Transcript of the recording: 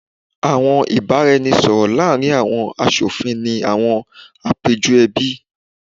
awọn ibaraẹnisọrọ laarin awọn aṣofin ni awọn apejọ ẹbi